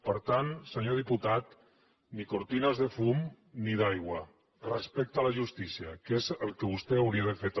per tant senyor diputat ni cortines de fum ni d’aigua respecte a la justícia que és el que vostè hauria de fer també